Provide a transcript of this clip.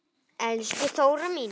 Elsku Þóra mín.